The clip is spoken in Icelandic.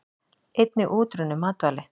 Einnig útrunnin matvæli.